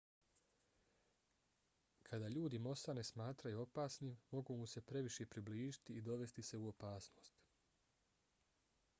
kada ljudi mosa ne smatraju opasnim mogu mu se previše približiti i dovesti se u opasnost